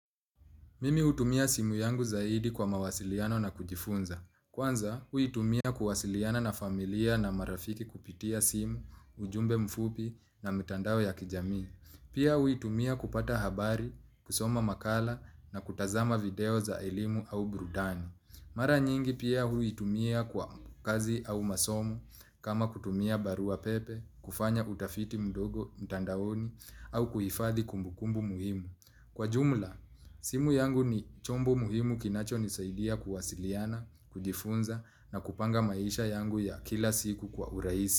Mimi hutumia simu yangu zaidi kwa mawasiliano na kujifunza. Kwanza, huitumia kuwasiliana na familia na marafiki kupitia simu, ujumbe mfupi na mitandao ya kijamii. Pia huitumia kupata habari, kusoma makala na kutazama video za elimu au burudani. Mara nyingi pia huitumia kwa kazi au masomo kama kutumia barua pepe, kufanya utafiti mdogo mtandaoni au kuhifadhi kumbu kumbu muhimu. Kwa jumla, simu yangu ni chombo muhimu kinacho nisaidia kuwasiliana, kujifunza na kupanga maisha yangu ya kila siku kwa urahisi.